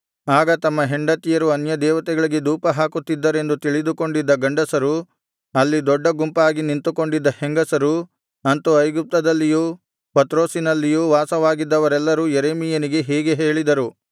ಆಗ ತಮ್ಮ ಹೆಂಡತಿಯರು ಅನ್ಯದೇವತೆಗಳಿಗೆ ಧೂಪಹಾಕುತ್ತಿದ್ದರೆಂದು ತಿಳಿದುಕೊಂಡಿದ್ದ ಗಂಡಸರು ಅಲ್ಲಿ ದೊಡ್ಡ ಗುಂಪಾಗಿ ನಿಂತುಕೊಂಡಿದ್ದ ಹೆಂಗಸರು ಅಂತು ಐಗುಪ್ತದಲ್ಲಿಯೂ ಪತ್ರೋಸಿನಲ್ಲಿಯೂ ವಾಸವಾಗಿದ್ದವರೆಲ್ಲರೂ ಯೆರೆಮೀಯನಿಗೆ ಹೀಗೆ ಹೇಳಿದರು